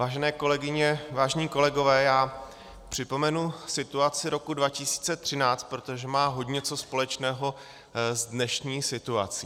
Vážené kolegyně, vážení kolegové, já připomenu situaci roku 2013, protože má hodně co společného s dnešní situací.